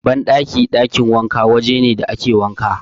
Banɗaki/ɗakin wanka waje ne da ake wanka.